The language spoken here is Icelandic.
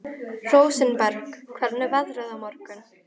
Rósinberg, hvernig er veðrið á morgun?